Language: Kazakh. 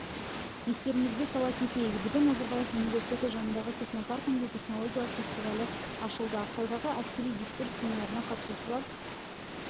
естеріңізге сала кетейік бүгін назарбаев университеті жанындағы технопаркінде технологиялық фестивалі ашылды ақтаудағы әскери дискурс семинарына қатысушылар